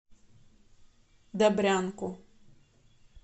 добрянку